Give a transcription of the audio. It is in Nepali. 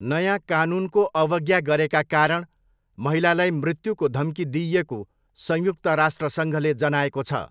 नयाँ कानुनको अवज्ञा गरेका कारण महिलालाई मृत्युको धम्की दिइएको संयुक्त राष्ट्रसङ्घले जनाएको छ।